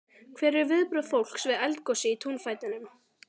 Hver eru viðbrögð fólks við eldgosi í túnfætinum?